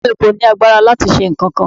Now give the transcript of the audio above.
Bàbá mi kò ní agbára láti ṣe nǹkankan.